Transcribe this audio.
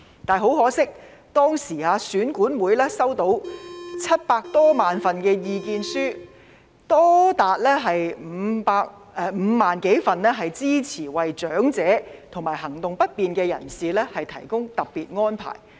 但是，很可惜，當時選管會接獲7萬多份意見書，當中多達5萬多份支持為長者及行動不便人士提供特別安排。